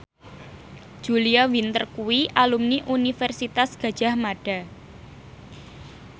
Julia Winter kuwi alumni Universitas Gadjah Mada